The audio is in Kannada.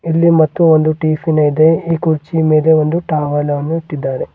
ಇಲ್ಲಿ ಮತ್ತು ಒಂದು ಟಿಫಿನ್ ಇದೆ ಈ ಕುರ್ಚಿ ಮೇಲೆ ಒಂದು ಟವಲ್ ಅನ್ನು ಇಟ್ಟಿದ್ದಾರೆ.